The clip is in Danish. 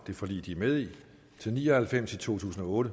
det forlig de er med i til ni og halvfems i to tusind og otte